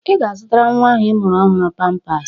Ị ga-azụtara nnwa ahụ ị mụrụ ọhụrụ pampas.